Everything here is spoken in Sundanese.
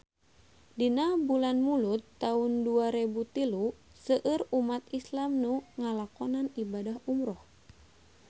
Dina bulan Mulud taun dua rebu tilu seueur umat islam nu ngalakonan ibadah umrah